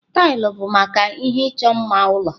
Taịlị bụ maka ihe ịchọ mma ụlọ.